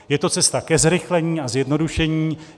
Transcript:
Je to cesta ke zrychlení a zjednodušení.